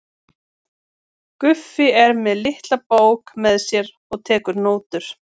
Guffi er með litla bók með sér og tekur nótur.